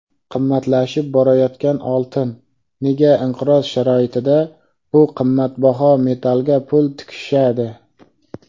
Qimmatlashib borayotgan oltin: nega inqiroz sharoitida bu qimmatbaho metallga pul tikishadi?.